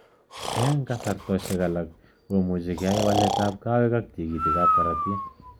Ing kasartoshek alak much keai walet ap kowek ak tigitik ap korotik.